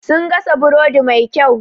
Sun gasa burodi mai kyau.